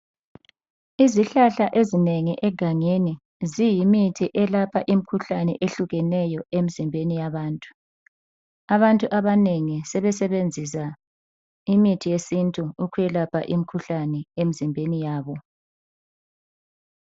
Izihlahla ezinengi egangeni ziyimithi elapha imikhuhlane ehlukeneyo emzimbeni yabantu. Abantu abanengi sebesebenzisa imithi yesintu ukwelapha imikhuhlane emzimbeni yabo.